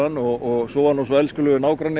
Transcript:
og svo var nú svo elskulegur nágranni